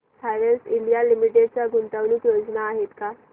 Havells India limited च्या गुंतवणूक योजना आहेत का